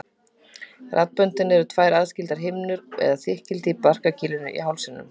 Raddböndin eru tvær aðskildar himnur eða þykkildi í barkakýlinu í hálsinum.